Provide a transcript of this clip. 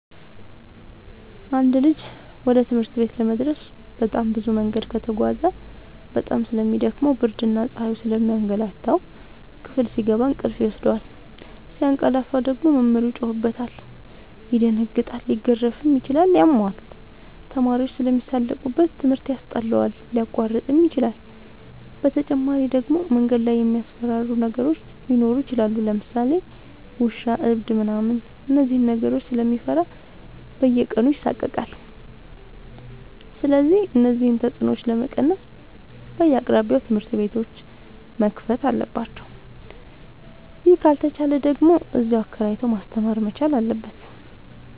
አንድ ልጅ ወደ ትምህርት ቤት ለመድረስ በጣም ብዙ መንገድ ከተጓዘ በጣም ስለሚ ደክመው ብርድና ፀሀዩ ስለሚያገላታው። ክፍል ሲገባ እንቅልፍ ይወስደዋል። ሲያቀላፍ ደግሞ መምህሩ ይጮህበታል ይደነግጣል ሊገረፍም ይችላል ያመዋል፣ ተማሪዎችም ስለሚሳለቁበት ትምህርት ያስጠላዋል፣ ሊያቋርጥም ይችላል። በተጨማሪ ደግሞ መንገድ ላይ የሚያስፈራሩ ነገሮች ሊኖሩ ይችላሉ ለምሳሌ ውሻ እብድ ምናምን እነዚህን ነገሮች ስለሚፈራ በየቀኑ ይሳቀቃል። ስለዚህ እነዚህን ተፅኖዎች ለመቀነስ በየአቅራቢያው ትምህርት ቤቶዎች መከፈት አለባቸው ይህ ካልተቻለ ደግሞ እዚያው አከራይቶ ማስተማር መቻል አለበት።